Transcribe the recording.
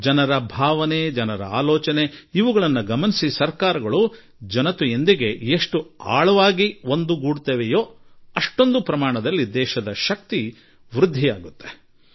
ಜನರ ಸ್ವಭಾವ ಜನರ ಆಲೋಚನೆ ಮತ್ತು ಸರ್ಕಾರಗಳು ಅದೆಷ್ಟು ಜನರೊಡನೆ ಸಂಪರ್ಕ ಹೊಂದಿರುತ್ತದೆಯೋ ಅಷ್ಟು ದೇಶದ ಸಾಮರ್ಥ್ಯ ಹೆಚ್ಚುತ್ತದೆ